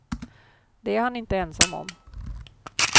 Det är han inte ensam om.